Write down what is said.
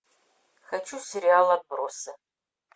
хочу сериал отбросы